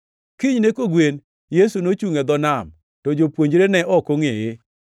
Kinyne kogwen, Yesu nochungʼ e dho nam, to jopuonjre ne ok ongʼeye.